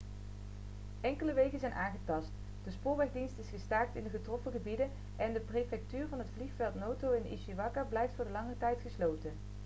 enkele wegen zijn aangetast de spoorwegdienst is gestaakt in de getroffen gebieden en de prefectuur van het vliegveld noto in ishikawa blijft voor langere tijd gesloten